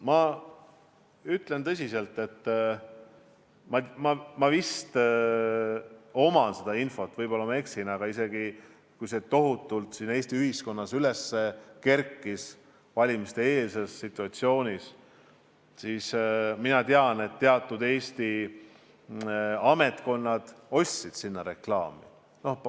Ma ütlen tõsiselt, et mul vist on infot selle kohta – võib-olla ma eksin, aga see teema kerkis Eesti ühiskonnas valimiseelses situatsioonis üles –, et teatud Eesti ametkonnad ostsid sinna reklaami.